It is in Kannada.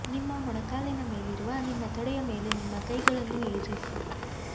ನಿಮ್ಮ ಮೊಣಕಾಲಿನ ಮೇಲಿರುವ ನಿಮ್ಮ ತೊಡೆಯ ಮೇಲೆ ನಿಮ್ಮ ಕೈಗಳನ್ನು ಇರಿಸಿ